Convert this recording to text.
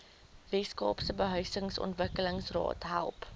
weskaapse behuisingsontwikkelingsraad help